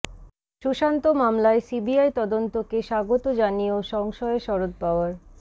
সুশান্ত মামলায় সিবিআই তদন্তকে স্বাগত জানিয়েও সংশয়ে শরদ পাওয়ার